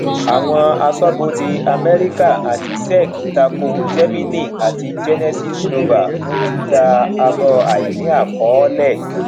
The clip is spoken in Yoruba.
àwọn aṣọbodè amẹríkà àti sec tako gemini àti genesis global fún títà àbọ àìníàkọọlẹ